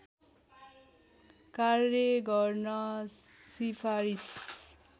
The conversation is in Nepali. कार्य गर्न सिफारिस